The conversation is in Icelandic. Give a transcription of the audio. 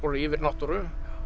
yfirnáttúru